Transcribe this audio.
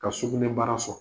Ka sugunɛ bara fa.